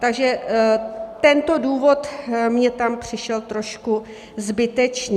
Takže tento důvod mně tam přišel trošku zbytečný.